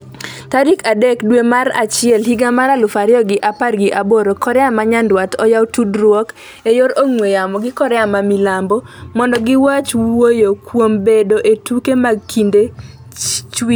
tarik adek dwe mar achiel higa mar aluf ariyo gi apar gi aboro .Korea ma nyandwat oyawo tudruok e yor ong'we yamo gi Korea ma milambo mondo gichak wuoyo kuom bedo e tuke mag kinde chwiri.